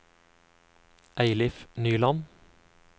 Eilif Nyland